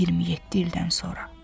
27 ildən sonra.